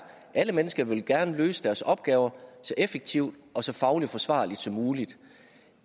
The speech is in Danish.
alle mennesker vil jo gerne løse deres opgaver så effektivt og så fagligt forsvarligt som muligt